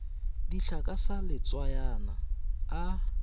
dihlaa ka sa letswayana a